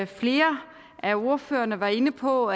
flere af ordførerne var inde på